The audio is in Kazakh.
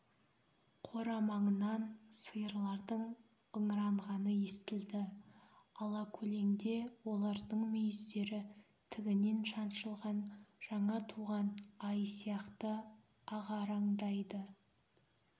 қора маңынан сиырлардың ыңыранғаны естілді алакөлеңде олардың мүйіздері тігінен шаншылған жаңа туған ай сияқты ағараңдайды